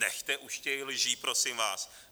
Nechte už těch lží prosím vás!